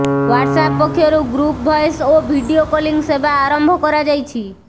WhatsApp ପକ୍ଷରୁ group voice ଓ video calling ସେବା ଆରମ୍ଭ କରାଯାଇଛି